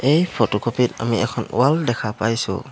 এই ফটোকপি ত আমি এখন ৱাল দেখা পাইছোঁ।